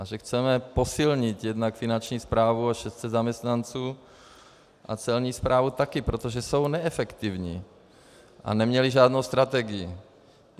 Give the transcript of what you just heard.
A že chceme posílit jednak finanční správu o 600 zaměstnanců a celní správu taky, protože jsou neefektivní a neměly žádnou strategii.